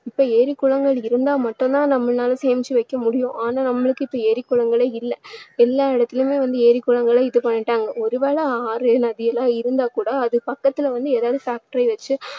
இப்போ ஏரி, குளங்கள் இருந்தா மட்டும் தான் நம்மளால சேமிச்சு வைக்க முடியும். ஆனா நம்மளுக்கு இப்போ ஏரி, குளங்களே இல்லை. எல்லா இடத்துலேயுமே வந்து ஏரி, குளங்களை இது பண்ணிட்டாங்க ஒரு வேளை ஆறு, நதியெல்லாம் இருந்தாக்கூட அது பக்கத்துல வந்து ஏதாவது factory வச்சு